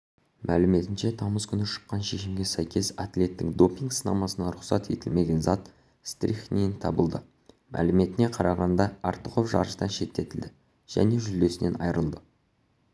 мәліметінше тамыз күні шыққан шешімге сәйкес атлеттің допинг-сынамасынан рұқсат етілмеген зат стрихнин табылды мәліметіне қарағанда артықов жарыстан шеттетілді және жүлдесінен айрылды